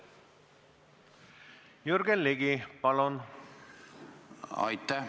Aitäh!